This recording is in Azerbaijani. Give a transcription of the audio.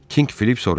Kink Filip soruşdu.